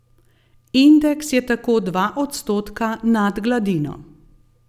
Indeks je tako dva odstotka nad gladino.